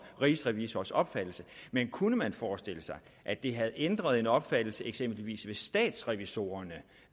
rigsrevisors opfattelse men kunne man forestille sig at det havde ændret en opfattelse eksempelvis hos statsrevisorerne